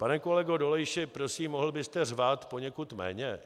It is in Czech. Pane kolego Dolejši, prosím, mohl byste řvát poněkud méně?